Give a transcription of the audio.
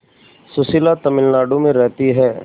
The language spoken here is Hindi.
सुशीला तमिलनाडु में रहती है